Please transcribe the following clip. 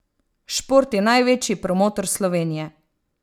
Šport je največji promotor Slovenije!